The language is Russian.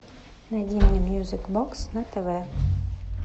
найди мне мьюзик бокс на тв